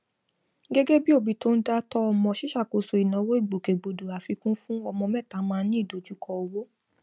gẹgẹ bí òbí tó ń dá tọ ọmọ ṣíṣàkóso ìnáwó ìgbòkègbodò àfikún fún ọmọ mẹta máa ní ìdojúkọ owó